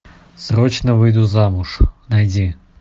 срочно выйду замуж найди